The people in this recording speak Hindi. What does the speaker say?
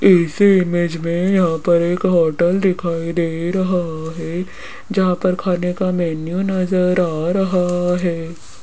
इस इमेज में यहां पर एक होटल दिखाई दे रहा है जहां पर खाने का मेनू नजर आ रहा है।